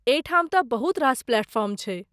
एहिठाम तँ बहुत रास प्लेटफॉर्म छै।